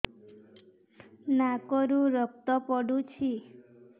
ନାକରୁ ରକ୍ତ ପଡୁଛି